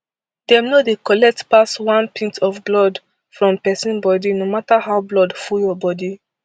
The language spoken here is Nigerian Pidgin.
dem no dey collect pass one pint of blood from pesin body no mata how blood full your bodi